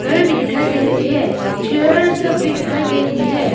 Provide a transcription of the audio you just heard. दिखाई दे रही है चेयर सब भी दिखाई दे रही है।